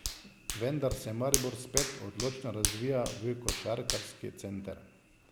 Vendar se Maribor spet odločno razvija v košarkarski center.